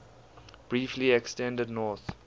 briefly extended north